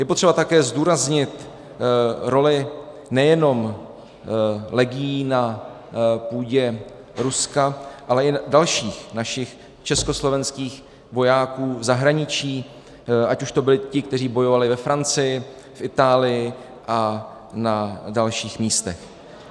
Je potřeba také zdůraznit roli nejenom legií na půdě Ruska, ale i dalších našich československých vojáků v zahraničí, ať už to byli ti, kteří bojovali ve Francii, Itálii a na dalších místech.